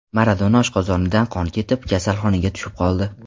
Maradona oshqozonidan qon ketib, kasalxonaga tushib qoldi.